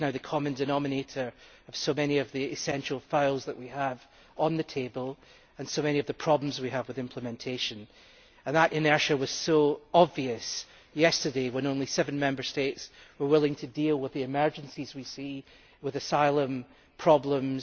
This is now the common denominator of so many of the essential files we have on the table and so many of the problems we have with implementation. That inertia was obvious yesterday, when only seven Member States were willing to deal with the emergencies we see with asylum problems.